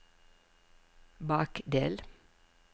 bakdel